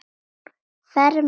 Farmenn á flótta